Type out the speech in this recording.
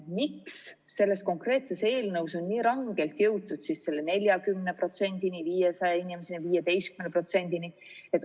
Miks selles konkreetses eelnõus on nii rangelt jõutud selle 40%-ni, 500 inimeseni, 15%-ni?